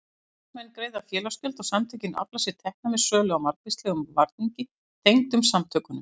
Félagsmenn greiða félagsgjöld og samtökin afla sér tekna með sölu á margvíslegum varningi tengdum samtökunum.